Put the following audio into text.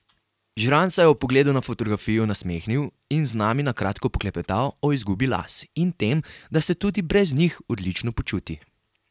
Žirant se je ob pogledu na fotografijo nasmehnil in z nami na kratko poklepetal o izgubi las in tem, da se tudi brez njih odlično počuti.